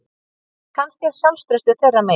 En kannski er sjálfstraustið þeirra megin